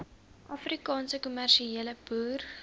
afrikaanse kommersiële boere